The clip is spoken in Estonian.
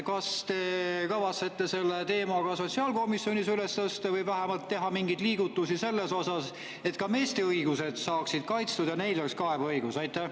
Kas te kavatsete selle teema ka sotsiaalkomisjonis üles tõsta või vähemalt teha mingeid liigutusi selles osas, et ka meeste õigused saaksid kaitstud ja neil oleks kaebeõigus?